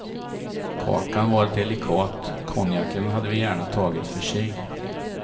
Kakan var delikat, konjaken hade vi gärna tagit för sig.